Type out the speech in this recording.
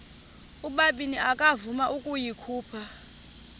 ubabini akavuma ukuyikhupha